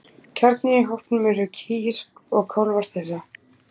Kjarninn í hópnum eru kýr og kálfar þeirra.